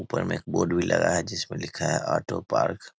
ऊपर में एक बोर्ड भी लगा है जिसपे लिखा है ऑटो पार्क ।